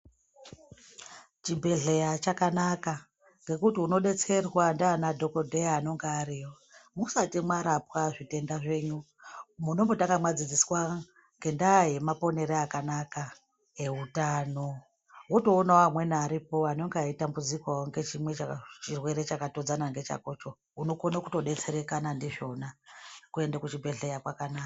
Chibhedhleya chakanaka ngekuti unodetserwa ndiana dhokodheya anenga ariyo musati mwarapwa zvitenda zvenyu munombotanga mwadzidzswa ngendaa yemaponere akanaka eutano Wotoona amweni aripo anenga eitambudzikaWo ngechimwe Chaka chirwere chakatodzana ngechakocho unokone kutodetsereka ndizvona kuende kuchibhedhleya kwakanaka.